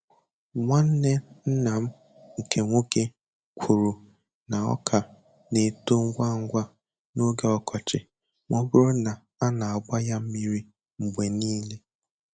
Nwanne nna m nke nwoke kwuru na ọka na-eto ngwa ngwa n'oge ọkọchị ma ọ bụrụ na a na-agba ya mmiri mgbe niile.